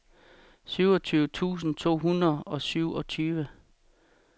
syvogtyve tusind to hundrede og syvogtyve